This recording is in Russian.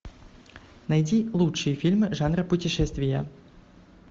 найди лучшие фильмы жанра путешествия